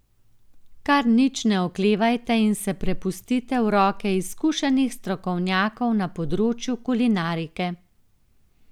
Kar nič ne oklevajte in se prepustite v roke izkušenih strokovnjakov na področju kulinarike.